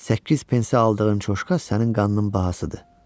Səkkiz pensə aldığın Coşka sənin qanının bahasıdır.